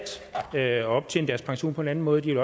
at optjene deres pension på en anden måde de